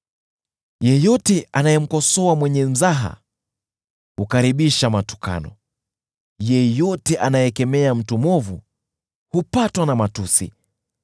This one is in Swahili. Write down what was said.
“Yeyote anayemkosoa mwenye mzaha hukaribisha matukano; yeyote anayekemea mtu mwovu hupatwa na matusi.